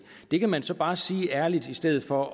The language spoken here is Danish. det kan man så bare sige ærligt i stedet for